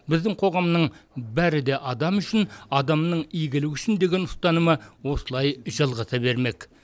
біздің қоғамның бәрі де адам үшін адамның игілігі үшін деген ұстанымы осылай жалғаса бермек